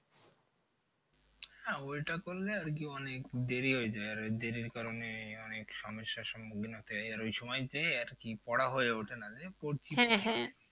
হ্যাঁ ওইটা করলে আর কি অনেক দেরি হয়ে যায় আর দেরির কারণে অনেক সমস্যার সম্মুখীন হতে হয়। আর ওই সময় যেয়ে আর কি পড়া হয়ে ওঠে না